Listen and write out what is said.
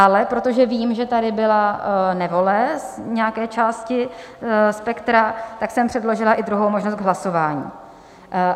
Ale protože vím, že tady byla nevole nějaké části spektra, tak jsem předložila i druhou možnost k hlasování.